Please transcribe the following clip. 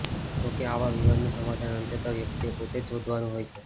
જો કે આવા વિવાદનું સમાધાન અંતે તો વ્યક્તિએ પોતે જ શોધવાનું હોય છે